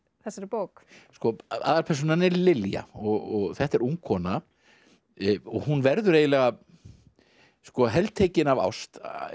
þessari bók aðalpersónan er Lilja og þetta er ung kona og hún verður eiginlega heltekin af ást